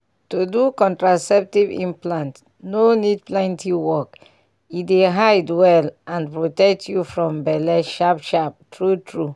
to do contraceptive implant no need plenty work — e dey hide well and protect you from belle sharp-sharp true-true.